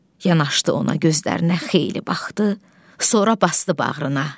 Yanaşdı ona, gözlərinə xeyli baxdı, sonra basdı bağrına.